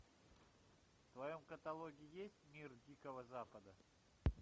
в твоем каталоге есть мир дикого запада